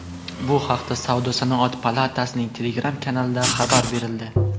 Bu haqda Savdo-sanoat palatasining Telegram-kanalida xabar berildi .